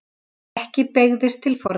Ekki beygðist til forna: